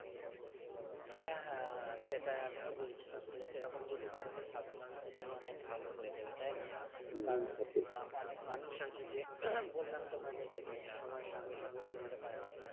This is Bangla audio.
হ্যাঁ হ্যাঁ হ্যাঁ সেটাই আমিও বলছিলাম সেরকম যদি করে তো সাধারণ মানুষের জন্য অনেক ভালো হয়ে যাবে তাই না কারণ অনেক মানুষ আছে যে বললাম তোমাকে যেটা সময়ের সঙ্গে সঙ্গে চলতে পারে না